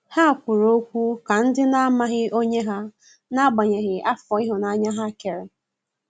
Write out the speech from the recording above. Ha kwụrụ ọkwụ ka ndi na amaghị onye ha, n'agbanyeghi afọ ihunanya ha kere.